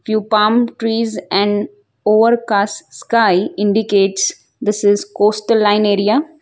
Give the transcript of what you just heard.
Two palm trees and overcast sky indicates this is coastal line area.